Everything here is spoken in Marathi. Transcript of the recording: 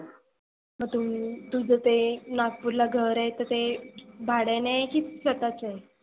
तु तुझ ते नागपुरला घर आहे तर ते भाड्याने आहे की स्वतःच आहे?